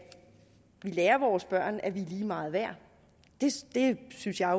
vi lærer vores børn at vi er lige meget værd det synes jeg